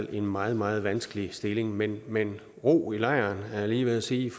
er en meget meget vanskelige stilling men men ro i lejren er jeg lige ved at sige